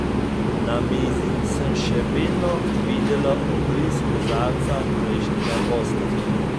Na mizi sem še vedno videla obris kozarca prejšnjega gosta.